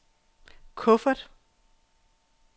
kuffert